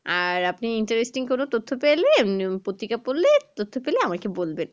আর আপনি interesting কোনো তথ্য পাইলে পত্রিকা পড়লে তথ্য পেলে আমাকে বলবেন